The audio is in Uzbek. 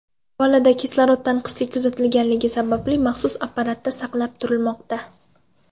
Bolada kislorod tanqisligi kuzatilganligi sababli maxsus apparatda saqlab turilmoqda.